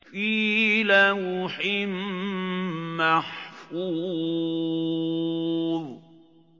فِي لَوْحٍ مَّحْفُوظٍ